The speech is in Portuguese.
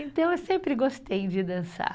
Então, eu sempre gostei de dançar.